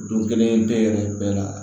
Don kelen bɛɛ yɛrɛ bɛɛ la